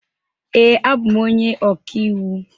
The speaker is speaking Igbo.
Ee, abụ m onye ọkàiwu.